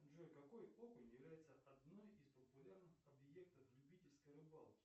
джой какой окунь является одной из популярных объектов любительской рыбалки